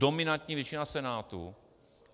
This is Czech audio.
Dominantní většina Senátu.